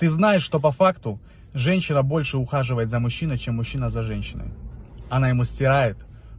ты знаешь что по факту женщина больше ухаживает за мужчиной сем мужчина за женщиной она ему стирает